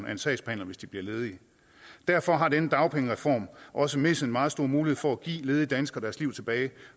en sagsbehandler hvis de blev ledige derfor har denne dagpengereform også misset en meget stor mulighed for at give ledige danskere deres liv tilbage